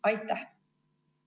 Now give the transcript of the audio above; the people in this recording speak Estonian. Aitäh!